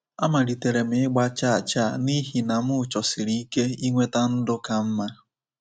Amalitere m ịgba chaa chaa n’ihi na m chọsiri ike inweta ndụ ka mma.